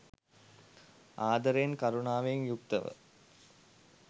ආදරයෙන්, කරුණාවෙන් යුක්තව